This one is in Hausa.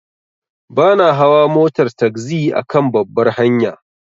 Bana hawa motar tagzi akan babbar hanya.